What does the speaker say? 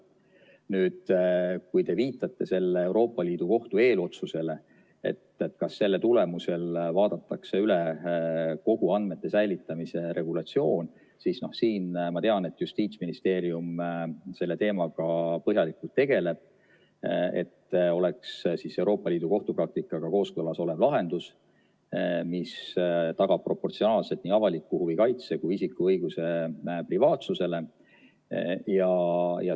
Nüüd, kui te viitate sellele Euroopa Liidu Kohtu eelotsusele, et kas selle tulemusel vaadatakse üle kogu andmete säilitamise regulatsioon, siis ma tean, et Justiitsministeerium selle teemaga põhjalikult tegeleb, et lahendus oleks Euroopa Liidu kohtupraktikaga kooskõlas ja tagaks proportsionaalselt nii avaliku huvi kaitse kui ka isiku õiguse privaatsusele.